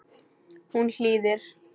Hún hlýðir.